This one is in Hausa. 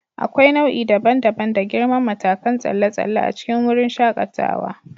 Akwai nau'i daban-daban da girman matakan tsalle tsalle a cikin wurin shakatawa.